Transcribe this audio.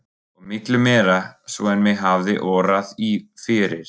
Og miklu meira svo en mig hafði órað fyrir.